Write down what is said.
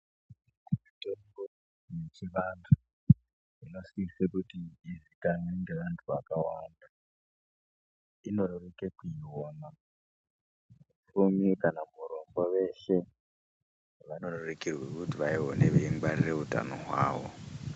Mitombo yechivantu inosise kuti izikanwe ngevantu vakawanda vanorerekerwe kuiona, mufumi kana murombo veshe vanorerekerwa kuiona veingwarira utano hwavo.